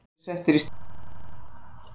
aðrir eru settir í staðinn